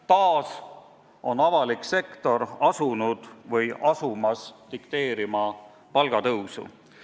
Jälle on avalik sektor asunud või asumas dikteerima palgatõusu.